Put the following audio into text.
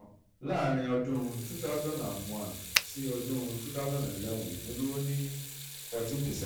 láàárín ọdún two thousand and one sí ọdún two thousand and eleven ipin duro ni fourteen percent.